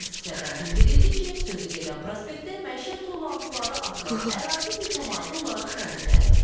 Müəssisədən bildirildi ki, sözü gedən prospektdə məişət tullantıları atılan ərazi mütəmadi olaraq təmizlənir.